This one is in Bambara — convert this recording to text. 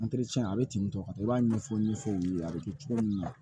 a bɛ ten tɔ ka taa i b'a ɲɛfɔ n ye f'o ye a bɛ kɛ cogo min na